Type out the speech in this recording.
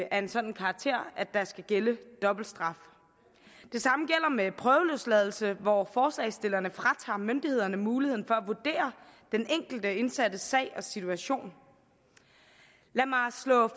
af en sådan karakter at der skal gælde dobbelt straf det samme gælder med prøveløsladelse hvor forslagsstillerne fratager myndighederne muligheden for at vurdere den enkelte indsattes sag og situation lad mig slå